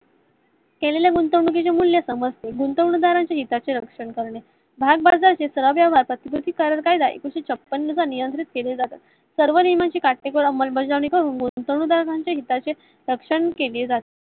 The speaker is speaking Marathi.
केलेल्या गुंतवणुकीचे मूल्य समजते गुंतवणुका दारांना नाही त्याचे निरिकक्षण करणे भागबाजारात ही एकोणाविशे छपन्न साल नुसार नियात्रिक केले जातात. सर्व नियमांची practical अंमल बजावणी होऊन गुंतवणूक दारांचे सक्षम केले जाते.